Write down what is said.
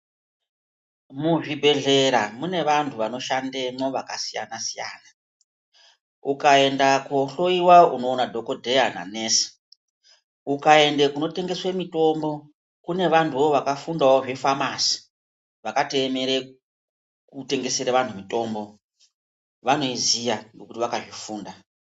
Muzvibhedhlera mune vantu vanoshandemwo vakasiyana siyana ,ukaenda kohloyiwa unoona dhokodheya nanesi ukaenda kunotengeswa mitombo kune vanhuwo vakafundawo zvefamasi vakatoemere kutengesera vantu mitombo vanoiziya nekuti vakazvifunda .